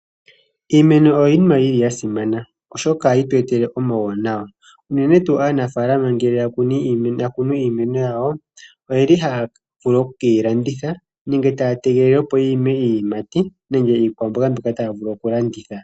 Iimeno oyo iinima yili yasimana oshoka ohayi tu etele omauwanawa, unene tuu aanafaalama ngele yakunu iimeno yawo , oyeli haya vulu okukeyi landitha nenge taya tegelele opo yiime iiyimati nenge iikwamboga mbyoka taya vulu okulanditha.